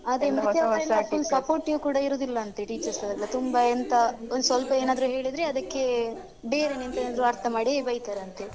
ಅವ್ರೆಲ್ಲ supportive ಕೂಡ ಇರುದಿಲ್ಲ ಅಂತೇ teachers ನವರೆಲ್ಲ ತುಂಬಾ ಎಂತ ಒಂದ್ ಸ್ವಲ್ಪ ಏನಾದ್ದ್ರೂ ಹೇಳಿದ್ರೆ ಅದಕ್ಕೆ ಬೇರೆನೇ ಎಂತದಾದ್ರು ಅರ್ಥ ಮಾಡಿ ಬೈತಾರೆ ಅಂತೇ.